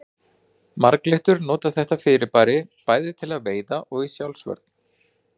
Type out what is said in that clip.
Marglyttur nota þetta fyrirbæri bæði til veiða og í sjálfsvörn.